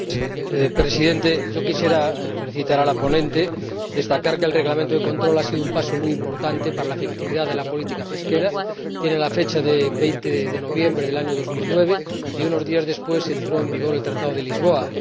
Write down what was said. Señor Presidente, yo quisiera felicitar a la ponente y destacar que el Reglamento de control ha sido un paso muy importante para la efectividad de la política pesquera común. Tiene fecha de 20 de noviembre de 2009 y unos días después entró en vigor el Tratado de Lisboa.